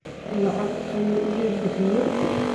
Lacag ayu ikabixiye.